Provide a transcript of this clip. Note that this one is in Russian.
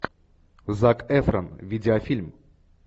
зак эфрон видеофильм